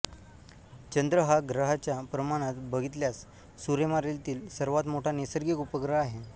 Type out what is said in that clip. चंद्र हा ग्रहाच्या प्रमाणात बघितल्यास सूर्यमालेतील सर्वांत मोठा नैसर्गिक उपग्रह आहे